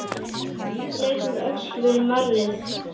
Faðir hans leit um öxl við marrið.